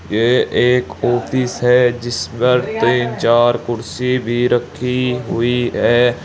यह एक ऑफिस है जिस पर तीन चार कुर्सी भी रखी हुई है।